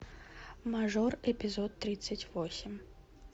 мажор эпизод тридцать восемь